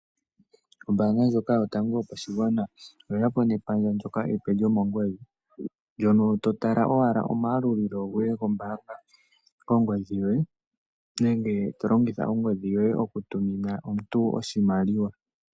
Ombanga ndjoka yotango yopashigwana oye yapo nepandja epe ndoka lomongodhi, ndono totala owala oma yalulilo gwohe kombanga kongodhi yoye nenge tolongitha ongodhi yoye oku tumina omuntu oshimaliwa.